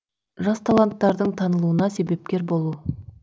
жас таланттардың танылуына себепкер болу